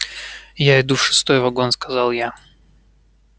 я иду в шестой вагон сказал я